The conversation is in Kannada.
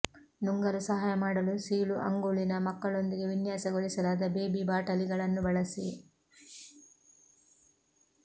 ನುಂಗಲು ಸಹಾಯ ಮಾಡಲು ಸೀಳು ಅಂಗುಳಿನ ಮಕ್ಕಳೊಂದಿಗೆ ವಿನ್ಯಾಸಗೊಳಿಸಲಾದ ಬೇಬಿ ಬಾಟಲಿಗಳನ್ನು ಬಳಸಿ